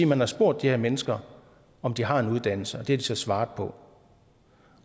man har spurgt de her mennesker om de har en uddannelse og det har de så svaret på